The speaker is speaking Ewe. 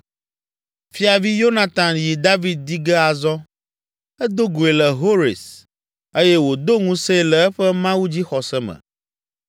Fiavi Yonatan yi David di ge azɔ. Edo goe le Hores eye wòdo ŋusẽe le eƒe mawudzixɔse me.